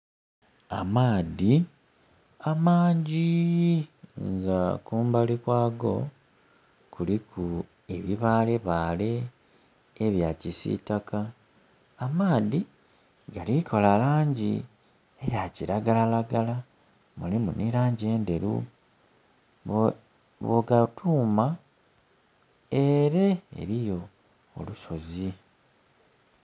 Amaadhi amangi, nga kumbali kwago kuliku ebibalebale ebya kisitaka. Amaadhi galikola langi ya kilagalalagala mulimu nhi langi endheru. Bwogatuuma, eere eriyo olusozi.